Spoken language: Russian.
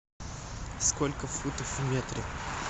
сколько футов в метре